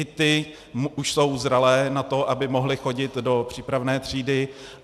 I ty už jsou zralé na to, aby mohly chodit do přípravné třídy.